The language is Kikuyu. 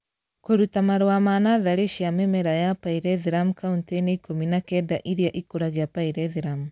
Kũruta marũa ma natharĩ cia mĩmera ya pyrethrum kauntĩ-inĩ ikũmi na kenda irĩa ikũragia pyrethrum